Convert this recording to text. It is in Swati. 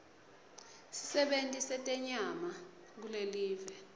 sisebenti setenyama kulelive